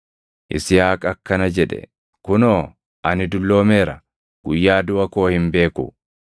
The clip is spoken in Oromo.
Yisihaaq akkana jedhe; “Kunoo, ani dulloomeera; guyyaa duʼa koo hin beeku.